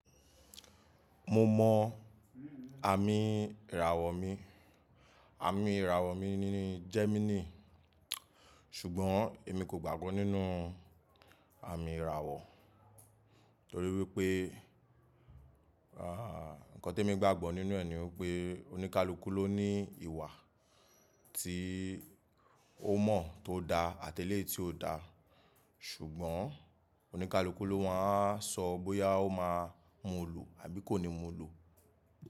Mo mọ àmì ìràwọ̀ mi, àmì ìràwọ̀ mi ni Gemini. Ṣùgbọ́n èmi kò gbàgbọ́ nínú àmì ìràwọ̀ torí wípé, àh, ǹkan tí emi gbàgbọ́ nínú ẹ̀ ni wípé oníkálukú ló ní ìwà tí ó mọ̀ tó dá àti eléyìí tí ò dá. Ṣùgbọ́n oníkálukú ló máa wa sọ bóyá ó máa mú un lò àbí kò ní mú un lò.